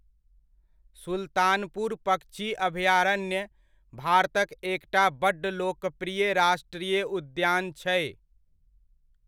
सुल्तानपुर पक्षी अभयारण्य भारतक एकटा बड्ड लोकप्रिय राष्ट्रीय उद्यान छै।